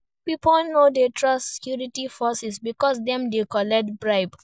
Pipo no de trust security forces because dem de collect bribe